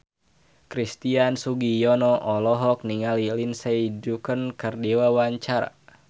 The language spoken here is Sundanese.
Christian Sugiono olohok ningali Lindsay Ducan keur diwawancara